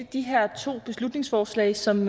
de her to beslutningsforslag som